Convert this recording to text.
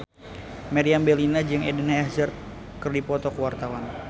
Meriam Bellina jeung Eden Hazard keur dipoto ku wartawan